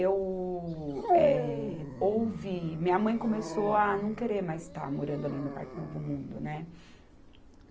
Eu, eh, ouvi... Minha mãe começou a não querer mais estar morando ali no Parque Novo Mundo, né?